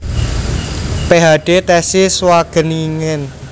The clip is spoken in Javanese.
PhD thesis Wageningen